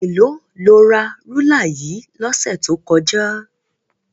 Èló lo ra rúlà yìí lọ́sẹ̀ tó kọjá?